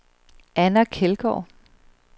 Anna Kjeldgaard